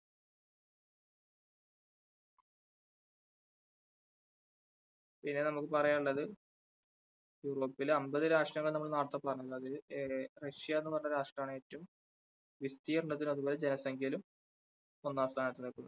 ഇനി നമുക്ക് പറയാനുള്ളത് യൂറോപ്പിലെ അൻപത് രാഷ്ടങ്ങൾ നമ്മൾ നേരത്തെ പറഞ്ഞത് ഏ റഷ്യ എന്ന് പറഞ്ഞ രാഷ്ട്രാണ് ഏറ്റവും വിസ്തീർണത്തിലും അതുപോലെ ജനസംഖ്യയിലും ഒന്നാം സ്ഥാനത്ത് നിൽക്കുന്നത്.